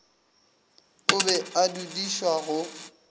o be a dudišwa go